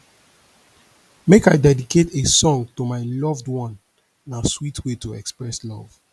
make i dedicate a song to my loved one na sweet way to express love